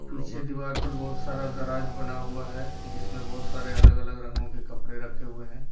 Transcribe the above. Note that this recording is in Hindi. पीछे दीवार पर बहुत सारा दराज बना हुआ है जिसमें बहुत सारे अलग अलग रंगों के कपड़े रखे हुए हैं।